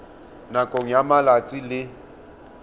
nakong ya malatsi a le